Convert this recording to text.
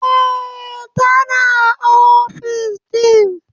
Eh, tana ofis din.